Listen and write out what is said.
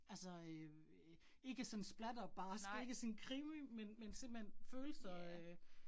Altså øh ikke sådan splatterbarsk ikke sådan krimi, men men simpelthen følelser øh